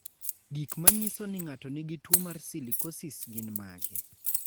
Gik manyiso ni ng'ato nigi tuwo mar silicosis gin mage?